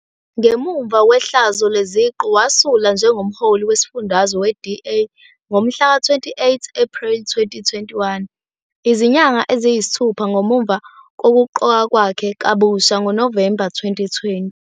Ngemuva kwehlazo leziqu, wasula njengoMholi Wesifundazwe we-DA ngomhlaka-28 Ephreli 2021, izinyanga eziyisithupha ngemuva kokuqokwa kwakhe kabusha ngoNovemba 2020.